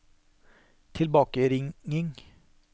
tilbakeringing